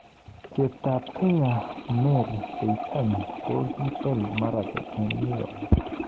Cheptab Kenya Mary Keitany koibel Marathon eng New York.